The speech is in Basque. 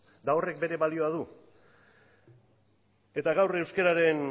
eta horrek bere balio du eta gaur euskararen